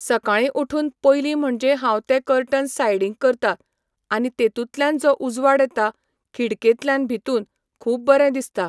सकाळीं उठून पयली म्हणजे हांव ते कटर्न्स सायडीक करतां आनी तेतुतल्यान जो उजवाड येता, खिडकेंतल्यान भितून, खूब बरें दिसता.